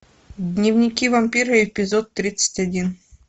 дневники вампира эпизод тридцать один